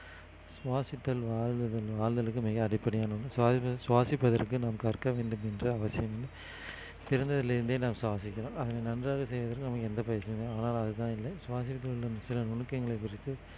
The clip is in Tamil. சுவாசித்தல் வாலுதல்~ வாழ்தலுக்கு மிக அடிப்படையானது சுவாசிப்ப~ சுவாசிப்பதற்கு நாம் கற்க வேண்டும் என்று அவசியம் இல்லை பிறந்ததிலிருந்தே நாம் சுவாசிக்கிறோம் அதை நன்றாக செய்வதில் நமக்கு எந்த பயிற்சியுமே ஆனால் அதுதான் இல்லை சில நுணுக்கங்களை குறித்து